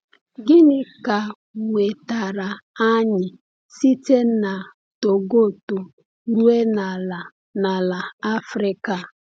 Gịnị ka wetara anyị site na Togoto ruo n’ala n’ala Afrịka a?